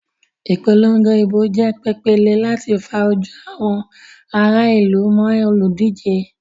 Ìpolongo ìbò jẹ́ pèpéle láti fa ojú àwọn ará ìlú mọ́ olùdíje.